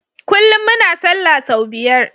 Kullun muna sallah sau biyar